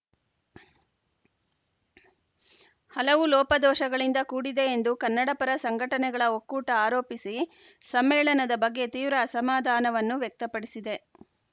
ಹಲವು ಲೋಪದೋಷಗಳಿಂದ ಕೂಡಿದೆ ಎಂದು ಕನ್ನಡಪರ ಸಂಘಟನೆಗಳ ಒಕ್ಕೂಟ ಆರೋಪಿಸಿ ಸಮ್ಮೇಳನದ ಬಗ್ಗೆ ತೀವ್ರ ಅಸಮಾಧಾನವನ್ನು ವ್ಯಕ್ತಪಡಿಸಿದೆ